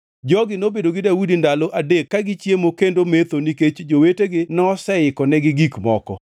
Jogi nobedo gi Daudi ndalo adek ka gichiemo kendo metho nikech jowetegi noseikonigi gik moko.